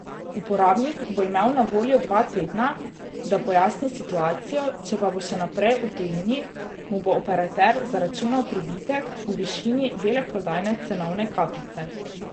Uporabnik bo imel na voljo dva tedna, da pojasni situacijo, če pa bo še naprej v tujini, mu bo operater zaračunal pribitek v višini veleprodajne cenovne kapice.